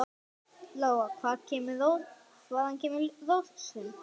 Lóa: Hvaðan kemur rósin?